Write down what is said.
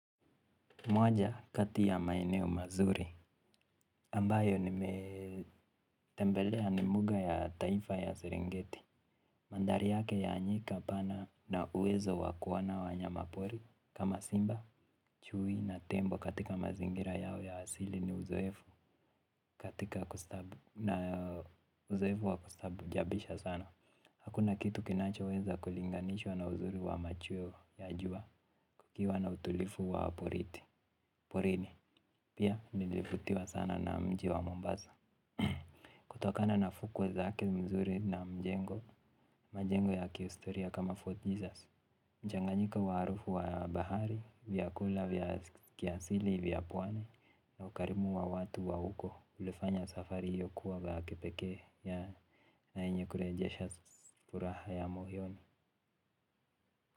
Moja kati ya maeneo mazuri, ambayo nimetembelea ni mbuga ya taifa ya serengeti. Mandhari yake ya nyika pana na uwezo wa kuona wanyamapori kama simba, chui na tembo katika mazingira yao ya asili ni uzoefu katika kustabu na uzoefu wa kustaajabisha sana. Hakuna kitu kinachoweza kulinganishwa na uzuri wa machweo ya jua kukiwa na utulivu wa porini. Porini, pia nilivutiwa sana na mji wa Mombasa. Kutokana na fukwe zake mzuri na mjengo majengo ya kihistoria kama Fort Jesus. Mchanganyiko wa harufu wa bahari vyakula, vya kiasili, vya pwani na ukarimu wa watu wa huko ulifanya safari hiyo kuwa la kipekee na yenye kurejesha furaha ya moyoni.